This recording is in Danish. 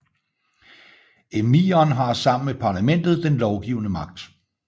Emiren har sammen med parlamentet den lovgivende magt